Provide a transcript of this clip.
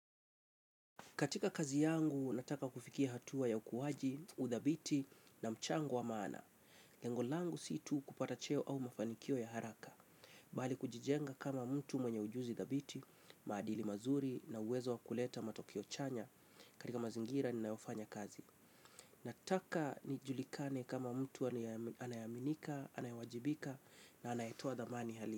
Katika kazi yangu, nataka kufikia hatua ya ukuwaji, uthabiti na mchango wa maana. Lengo langu si tu kupata cheo au mafanikio ya haraka. Bali kujijenga kama mtu mwenye ujuzi thabiti, maadili mazuri na uwezo wa kuleta matokeo chanya. Karika mazingira ninayofanya kazi. Nataka nijulikane kama mtu anayeaminika, anayewajibika na anayetoa thamani hali.